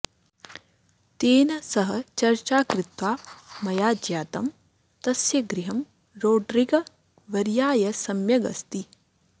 तेन सह चर्चा कृत्वा मया ज्ञातं तस्य गृहं रोड्रिगवर्याय सम्यग् अस्ति